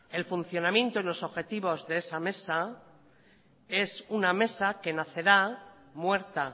el funcionamiento y los objetivos de esa mesa es una mesa que nacerá muerta